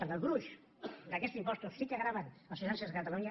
perquè el gruix d’aquests impostos sí que grava els ciutadans de catalunya